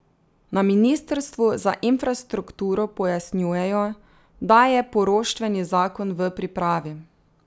Na ministrstvu za infrastrukturo pojasnjujejo, da je poroštveni zakon v pripravi.